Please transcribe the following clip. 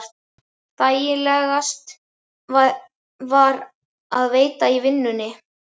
Þægilegast var að vera í vinnunni.